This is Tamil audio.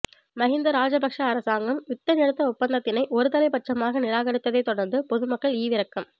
மகிந்த ராஜபக்ஷ அரசாங்கம் யுத்த நிறுத்த ஒப்பந்தத்தினை ஒரு தலைப்பட்சமாக நிராகரித்ததைத் தொடர்ந்து பொதுமக்கள் ஈவிரக்கம்